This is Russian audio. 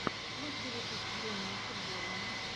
лучший выпуск времени футбола